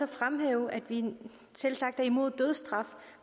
fremhæve at vi selvsagt er imod dødsstraf